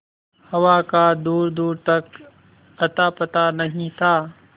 हवा का दूरदूर तक अतापता नहीं था